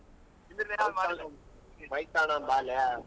Bike ತಗೊಂಡ್ bike ತೊಗೊಂಡ್ಹೋಗನ್ ಬಾ ಲೆ.